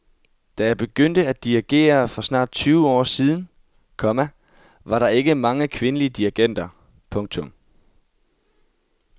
Da jeg begyndte at dirigere for snart tyve år siden, komma var der ikke mange kvindelige dirigenter. punktum